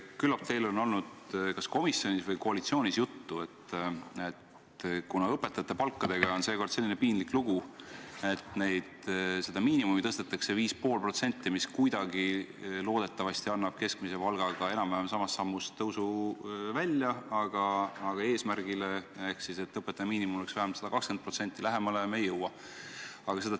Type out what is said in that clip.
Küllap on teil olnud kas komisjonis või koalitsioonis juttu, et kuna õpetajate palgaga on seekord selline piinlik lugu, et miinimumi tõstetakse 5,5%, mis loodetavasti kuidagi annab keskmise palgaga enam-vähem samas sammus tõusu välja, aga eesmärgile ehk sellele, et õpetajate miinimumpalk oleks vähemalt 120% riigi keskmisega võrreldes, me lähemale ei jõua.